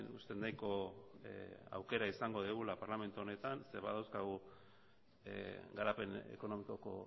uste dut nahiko aukera izango dugula parlamentu honetan zeren badauzkagu garapen ekonomikoko